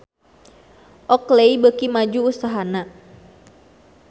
Oakley beuki maju usahana